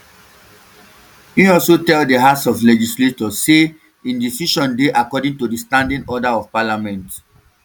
im also tell di house of legislature say im decision dey according to di standing orders of parliament